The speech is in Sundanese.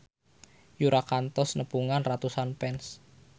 Yura kantos nepungan ratusan fans